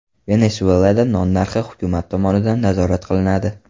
Venesuelada non narxi hukumat tomonidan nazorat qilinadi.